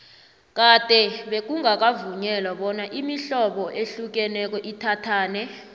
kade bekungakavunyelwa bona imihlobo ehlukeneko ithathane